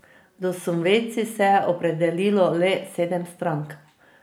Do subvencij se je opredelilo le sedem strank.